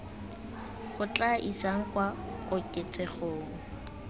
go tla isang kwa koketsegong